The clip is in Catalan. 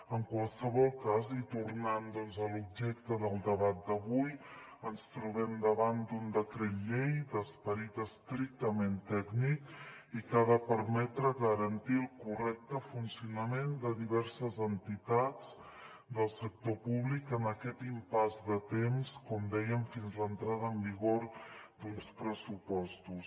en qualsevol cas i tornant doncs a l’objecte del debat d’avui ens trobem davant d’un decret llei d’esperit estrictament tècnic i que ha de permetre garantir el correcte funcionament de diverses entitats del sector públic en aquest impàs de temps com dèiem fins a l’entrada en vigor d’uns pressupostos